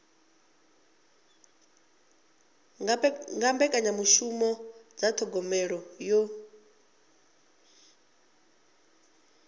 nga mbekanyamishumo dza thogomelo yo